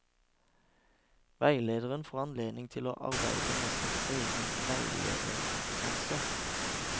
Veilederen får anledning til å arbeide med sin egen veilederkompetanse.